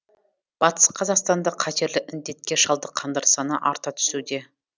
батыс қазақстанда қатерлі індетке шалдыққандар саны арта түсуде